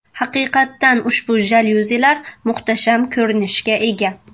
Haqiqatdan ushbu jalyuzilar muhtasham ko‘rinishga ega.